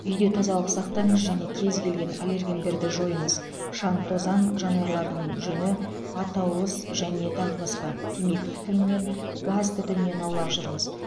үйде тазалық сақтаңыз және кез келген аллергендерді жойыңыз шаң тозаң жануарлардың жүні атауыз және тағы басқа темекі түтінінен газ түтінінен аулақ жүріңіз